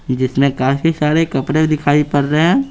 जिसमें काफी सारे कपड़े दिखाई पड़ रहे है।